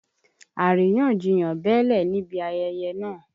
Àríyànjiyàn bẹ́lẹ̀ níbi ayẹyẹ náà.